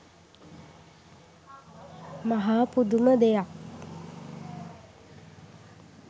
මහා පුදුම දෙයක්